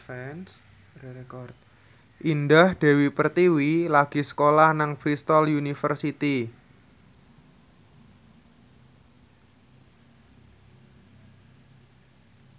Indah Dewi Pertiwi lagi sekolah nang Bristol university